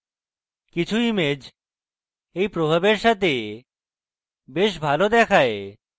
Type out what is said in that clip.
কিছু ইমেজ এই প্রভাবের সাথে বেশ ভালো দেখায়